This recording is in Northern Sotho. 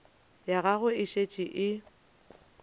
ya gagwe e šetše e